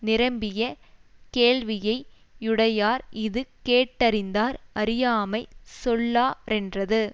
நிரம்பிய கேள்வியை யுடையார் இது கேட்டறிந்தார் அறியாமை சொல்லா ரென்றது